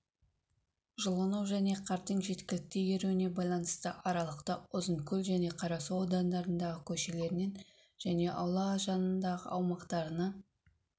жылыну және қардың жеткілікті еруіне байланысты арқалықта ұзынкөл және қарасу аудандарындағы көшелерінен және аула жанындағы аумақтарынан